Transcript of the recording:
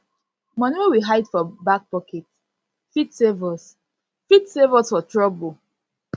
money wey we hide for back pocket fit save us fit save us for trouble